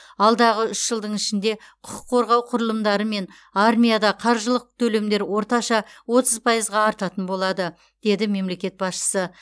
алдағы үш жылдың ішінде құқық қорғау құрылымдары мен армияда қаржылық төлемдер орташа отыз пайызға артатын болады деді мемлекет басшысы